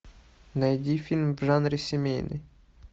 найди фильм в жанре семейный